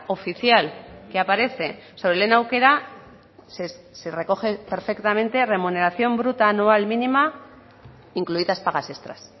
oficial que aparece sobre lehen aukera se recoge perfectamente remuneración bruta anual mínima incluidas pagas extras